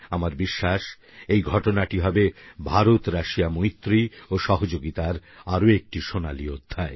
আমার বিশ্বাস এই ঘটনাটি হবে ভারতরাশিয়া মৈত্রী ও সহযোগিতার আরেকটি সোনালী অধ্যায়